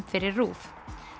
fyrir RÚV